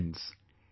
Friends,